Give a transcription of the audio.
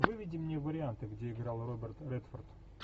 выведи мне варианты где играл роберт редфорд